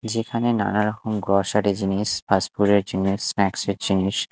যেখানে নানারকম গ্রসারি জিনিস ফাস্টফুড -এর জিনিস স্ন্যাকস -এর জিনিস--